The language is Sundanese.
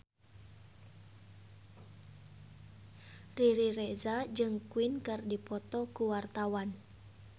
Riri Reza jeung Queen keur dipoto ku wartawan